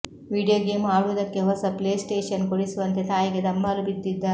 video game ಆಡುವುದಕ್ಕೆ ಹೊಸ PlayStation ಕೊಡಿಸುವಂತೆ ತಾಯಿಗೆ ದುಂಬಾಲು ಬಿದ್ದಿದ್ದ